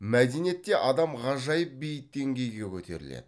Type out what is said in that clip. мәдениетте адам ғажайып биік деңгейге көтеріледі